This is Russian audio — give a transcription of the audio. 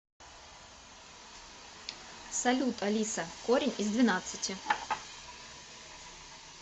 салют алиса корень из двенадцати